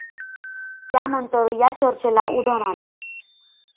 त्यानंतर या चर्चेला उधाण आलं.